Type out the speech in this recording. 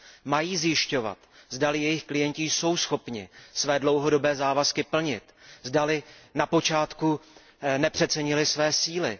Mají zjišťovat, zdali jejich klienti jsou schopni své dlouhodobé závazky plnit, zdali na počátku nepřecenili své síly.